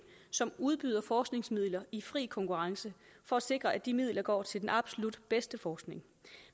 som udbyder forskningsmidler i fri konkurrence for at sikre at de midler går til den absolut bedste forskning